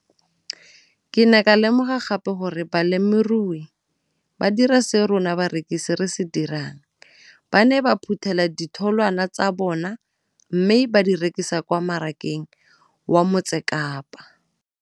Ke ne ka lemoga gape gore balemirui ba dira seo rona barekisi re se dirang ba ne ba phuthela ditholwana tsa bona mme ba di rekisa kwa marakeng wa Motsekapa.